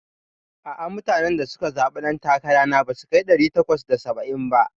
A'a, mutanen da suka zaɓe ɗan takara na basu kai ɗari takwas da saba'in ba.